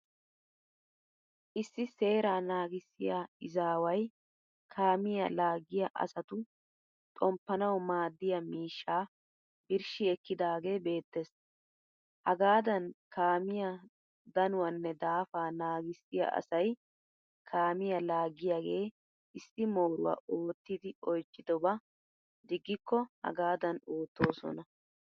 Issi seeraa naagissiya izaaway kaamiya laaggiya asatu xommpanawu maaddiya miishshaa birshshi ekkidaagee beettes. Hagaadan kaamiya danuwaanne daafaa naagissiyaa asay kaamiya laagiyaagee issi mooruwa oottidi oychidobaa diggikko hagaadan oottoosona.